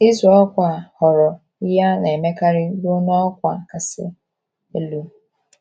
Ịzụ ọkwá ghọrọ ihe a na - emekarị ruo n’ọkwá kasị elu.